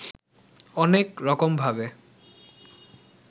অনেক রকমভাবে